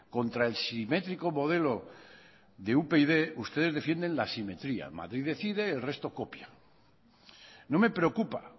contra el simétrico modelo de upyd ustedes defienden la simetría madrid decide el resto copia no me preocupa